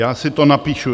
Já si to napíšu.